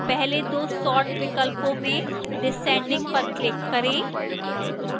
पहले दो sort विकल्पों में descending पर click करें